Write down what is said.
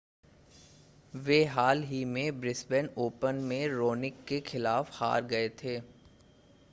वे हाल ही में ब्रिस्बेन ओपन में रोनिक के खिलाफ हार गए थे